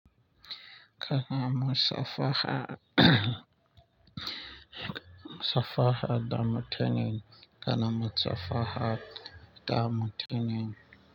Kana musafaha safaha da mutene, kana musafaha da mutane?